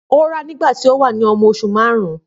Nígbà tí ó wà ní ọmọ oṣù márùn-ún